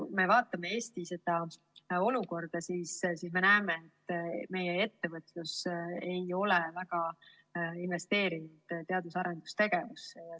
Kui me vaatame Eesti olukorda, siis me näeme, et meie ettevõtlus ei ole väga investeerinud teadus‑ ja arendustegevusse.